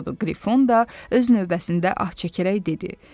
Qrifon da öz növbəsində ah çəkərək dedi.